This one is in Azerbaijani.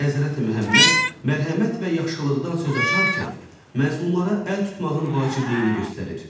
Həzrəti Məhəmməd mərhəmət və yaxşılıqdan söz açarkən məzlumlara əl tutmağın vacibliyini göstərir.